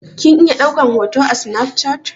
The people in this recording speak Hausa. Kin iya ɗaukan hoto a snaf chat?